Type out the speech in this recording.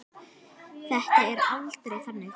Það er aldrei þannig.